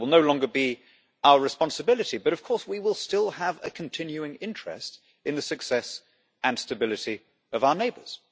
It will no longer be our responsibility, but of course we will still have a continuing interest in the success and stability of our neighbours.